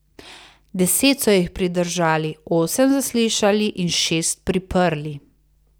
Deset so jih pridržali, osem zaslišali in šest priprli.